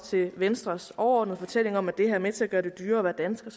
til venstres overordnede fortælling om at det her er med til at gøre det dyrere at være dansker